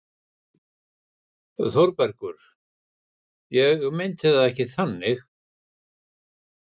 ÞÓRBERGUR: Ég meinti það ekki þannig.